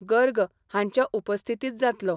गर्ग हांच्या उपस्थितीत जातलो.